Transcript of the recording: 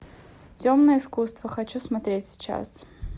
темное искусство хочу смотреть сейчас